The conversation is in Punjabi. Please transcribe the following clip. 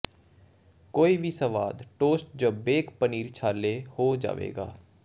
ਕੋਈ ਵੀ ਸਵਾਦ ਟੋਸਟ ਜ ਬੇਕ ਪਨੀਰ ਛਾਲੇ ਹੋ ਜਾਵੇਗਾ